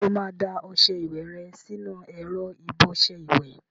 Ṣé o máa da ọṣẹ ìwẹ̀ rẹ sínú ẹ̀rọ ìbọṣẹ ìwẹ̀?